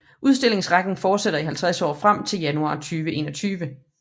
Udstillingsrækken fortsætter i 50 år frem til januar 2021